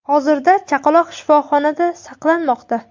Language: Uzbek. Hozirda chaqaloq shifoxonada saqlanmoqda.